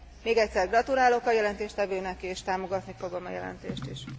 Még egyszer gratulálok a jelentéstevőnek, és támogatni fogom a jelentést is.